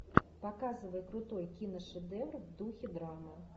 показывай крутой киношедевр в духе драмы